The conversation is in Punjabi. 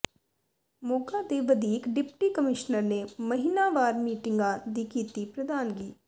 ਮੋਗਾ ਦੇ ਵਧੀਕ ਡਿਪਟੀ ਕਮਿਸ਼ਨਰ ਨੇ ਮਹੀਨਾਵਾਰ ਮੀਟਿੰਗਾਂ ਦੀ ਕੀਤੀ ਪ੍ਰਧਾਨਗੀ